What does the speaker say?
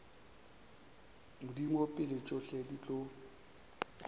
modimo pele tšohle di tlo